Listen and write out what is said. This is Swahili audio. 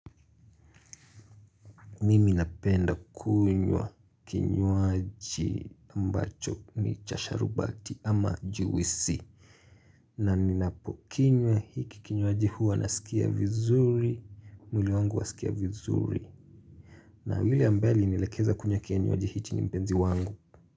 Mimi napenda kunywa kinywaji ambacho ni cha sharubati ama juisi na ninapo kinywa hiki kinywaji hua naskia vizuri mwili wangu waskia vizuri na yule ambaye alinielekeza kunywa kinywaji hichi ni mpenzi wangu.